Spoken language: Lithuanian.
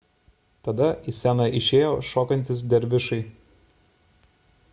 tada į sceną išėjo šokantys dervišai